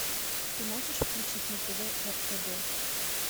ты можешь включить на тв ртд